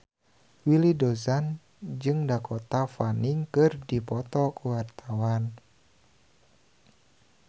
Willy Dozan jeung Dakota Fanning keur dipoto ku wartawan